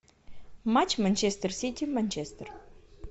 матч манчестер сити манчестер